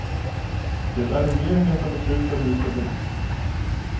Det är regeringen som beslutar hur det ska bli.